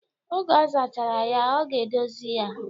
Oge ọ zachara ya, ọ ga-edozi ya.